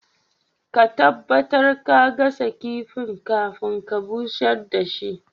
Ka tabatar ka gasa kifin kafin ka busher da shi.